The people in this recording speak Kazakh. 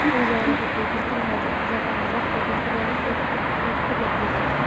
сол кезде олар айтады бұл бір тіл ме деп біз айтамыз жоқ бұл бір тіл емес екі екі түрлі тіл деп